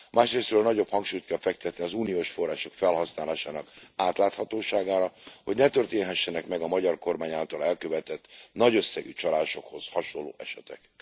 Másrészről nagyobb hangsúlyt kell fektetni az uniós források felhasználásának átláthatóságára, hogy ne történhessenek meg a magyar kormány által elkövetett nagy összegű csalásokhoz hasonló esetek.